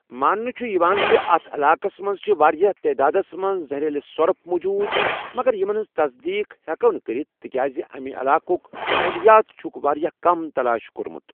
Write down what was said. ماننہٕ چھُ یِوان زِ اَتھ علاقَس منٛز چھِ واریٛاہ تعدادَس منٛز زَہریٖلہٕ سۄرپھ موٗجوٗد، مگر یِمن ہِنٛز تصدیق ہٮ۪کو نہٕ کٔرِتھ تِکیٛازِ اَمہِ علاقُک ماحولیات چھُکھ واریٛاہ کم تلاش کوٚرمُت۔